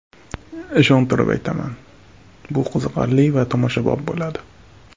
Ishontirib aytaman, bu qiziqarli va tomoshabob bo‘ladi.